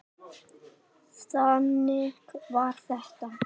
Þannig var þetta!